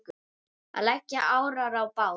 Að leggja árar í bát?